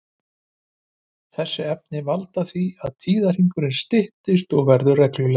Þessi efni valda því að tíðahringurinn styttist og verður reglulegri.